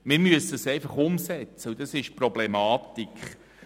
Wir müssen diese einfach umsetzen, und dort liegt die Problematik.